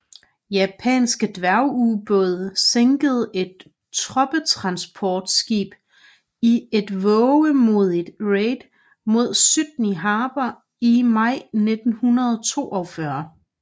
Japanske dværgubåde sænkede et troppetransportskib i et vovemodigt raid mod Sydney Harbour i maj 1942